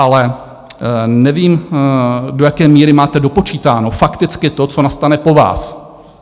Ale nevím, do jaké míry máte dopočítáno fakticky to, co nastane po vás.